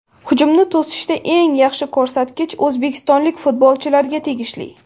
Hujumni to‘sishda eng yaxshi ko‘rsatkich o‘zbekistonlik futbolchilarga tegishli.